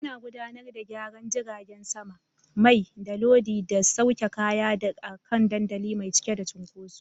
Ana gudanar da gyaran jiragen sama, mai, da lodi da sauke kaya a kan dandali mai cike da cunkoso.